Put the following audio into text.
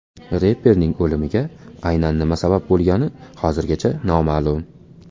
Reperning o‘limiga aynan nima sabab bo‘lgani hozircha noma’lum.